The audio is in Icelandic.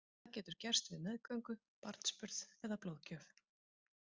Það getur gerst við meðgöngu, barnsburð eða blóðgjöf.